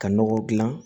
Ka nɔgɔ dilan